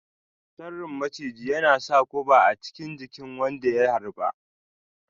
Sarrin maciji yana sa guba a chikin jikin wanda ya harba.